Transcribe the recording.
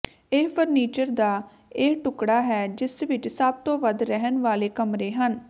ਇਹ ਫਰਨੀਚਰ ਦਾ ਇਹ ਟੁਕੜਾ ਹੈ ਜਿਸ ਵਿੱਚ ਸਭ ਤੋਂ ਵੱਧ ਰਹਿਣ ਵਾਲੇ ਕਮਰੇ ਹਨ